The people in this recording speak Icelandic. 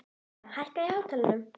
Gauja, hækkaðu í hátalaranum.